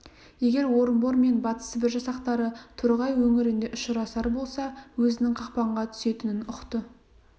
егер орынбор мен батыс сібір жасақтары торғай өңірінде ұшырасар болса өзінің қақпанға түсетінін ұқты